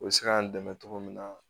U bɛ se k'an dɛmɛ cogo min na